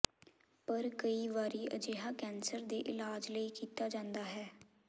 ਪਰ ਕਈ ਵਾਰੀ ਅਜਿਹਾ ਕੈਂਸਰ ਦੇ ਇਲਾਜ ਲਈ ਕੀਤਾ ਜਾਂਦਾ ਹੈ